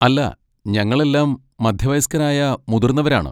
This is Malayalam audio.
അല്ല, ഞങ്ങളെല്ലാം മധ്യവയസ്കരായ മുതിർന്നവരാണ്.